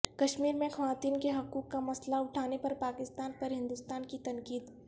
کشمیر میں خواتین کے حقوق کا مسئلہ اٹھانے پر پاکستان پر ہندوستان کی تنقید